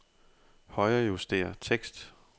Højrejuster tekst.